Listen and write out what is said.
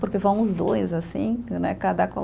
Porque vão os dois, assim, né? Cada